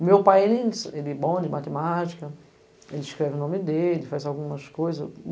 O meu pai, ele ensi, ele é bom de matemática, ele escreve o nome dele, faz algumas coisas.